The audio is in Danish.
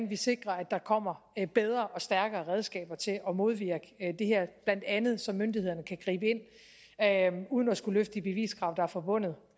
vi sikrer at der kommer bedre og stærkere redskaber til at modvirke det her blandt andet så myndighederne kan gribe ind uden at skulle løfte de beviskrav der er forbundet